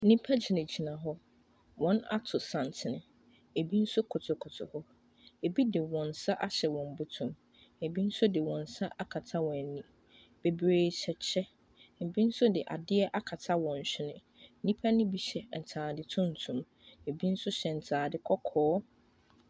Nnipa gyinagyina hɔ. Wɔato santen. Ebi nso kotokoto hɔ. Ebi de wɔn nsa ahyɛ wɔn bɔtɔ mu. Ebi nso de wɔn nsa akata wɔn ani. Bebree hyɛ kyɛ. Ebi nso de adeɛ akata wɔn hwene. Nnipa no bi hyɛ atade tuntum, ebi nso hyɛ ntade kɔkɔɔ.